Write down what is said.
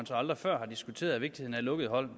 så aldrig før har diskuteret vigtigheden af lukkede hold